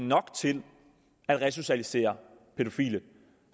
nok til at resocialisere pædofile